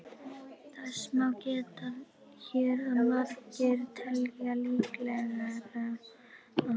Þess má geta hér að margir telja líklegra að